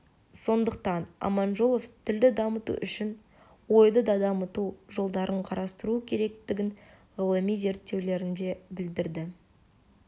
сондықтан аманжолов тілді дамыту үшін ойды да дамыту жолдарын қарастыру керектігін ғылыми зерттеулерінде білдірді